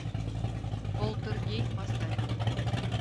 полтергей поставь